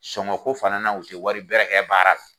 Sonko fana na u ti wari bɛrɛ kɛ baara la.